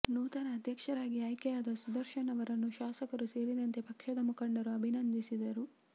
ನೂತನ ಅಧ್ಯಕ್ಷರಾಗಿ ಆಯ್ಕೆಯಾದ ಸುದರ್ಶನ್ ಅವರನ್ನು ಶಾಸಕರು ಸೇರಿದಂತೆ ಪಕ್ಷದ ಮುಖಂಡರು ಅಭಿನಂದಿಸಿದರು